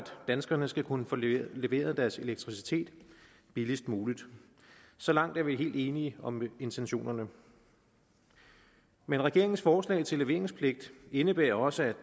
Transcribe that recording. danskerne skal kunne få leveret deres elektricitet billigst muligt så langt er vi helt enige om intentionerne men regeringens forslag til leveringspligt indebærer også